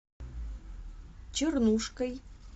чернушкой